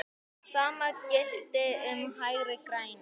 Sama gilti um Hægri græna.